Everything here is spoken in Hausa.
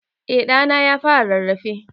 Eh ɗa na ya fara rarrafe.